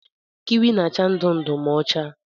Kiwi na-acha ndụ ndụ ma ọ chaa.